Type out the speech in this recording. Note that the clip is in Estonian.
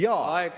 Aeg, Henn!